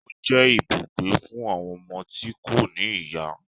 Ó jẹ́ ibùgbé fún àwọn ọmọ tí kò ní ìyá